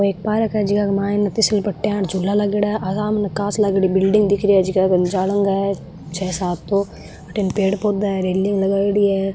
ओ एक पार्क है जीका के माय तिसल पट्टी और झूला लागेड़ा है कांच लागोड़ी बिल्डिंग दिख री है जका के जालंगा है छह सात तो अठिन पेड़ पौधा है रेलिंग लगायेड़ी है।